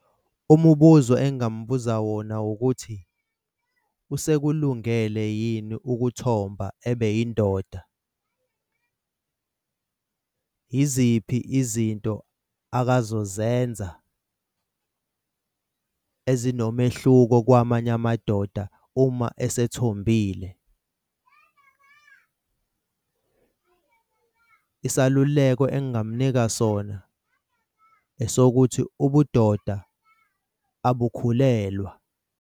Umubuzo engingamubuza wona wukuthi usekulungele yini ukuthomba ebe yindoda? Yiziphi izinto akazozenza ezinomehluko kwamanye amadoda uma asethombile? Isaluleko engamnika sona esokuthi ubudoda abukhulelwa.